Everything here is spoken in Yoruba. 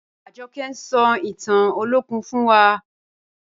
Ajọkẹ̀ ń sọ̀ ìtàn Olokun fún wà.